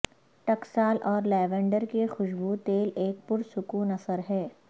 ٹکسال اور لیوینڈر کے خوشبو تیل ایک پرسکون اثر ہے